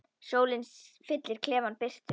Sólin fyllir klefann birtu.